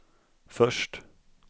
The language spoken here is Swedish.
först